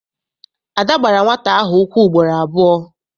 Ada gbara nwata ahụ ụkwụ ugboro abụọ.